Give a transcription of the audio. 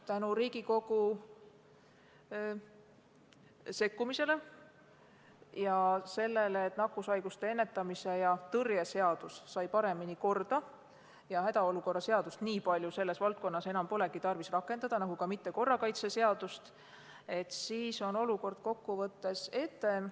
Tänu Riigikogu sekkumisele ja sellele, et nakkushaiguste ennetamise ja tõrje seadus sai paremini korda ning et hädaolukorra seadust polegi selles valdkonnas nii palju tarvis enam rakendada – nagu ka korrakaitseseadust –, on olukord kokkuvõttes etem.